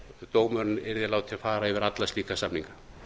dómurinn yrði látinn fara yfir alla slíka samninga